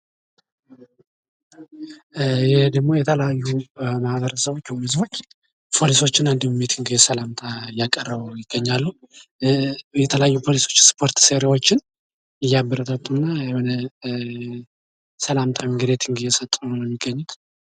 ይሄ ደግሞ የተለያዩ ማህበረሰብ ፖሊሶች እና ሚቲንግ ሰላምታ እያቀረቡ ይገኛሉ የተለያዩ ፖሊሶች ስፖርት ሰሪዎችን እያበረታቱና ሰላምታ ነገሮችን ነው እየሰጡ የሚገኙት